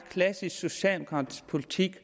klassisk socialdemokratisk politik